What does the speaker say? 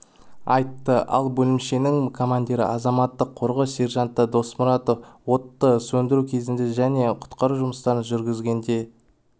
айтты ал бөлімшенің командиры азаматтық қорғау сержанты досмұратов отты сөндіру кезінде және құтқару жұмыстарын жүргізгенде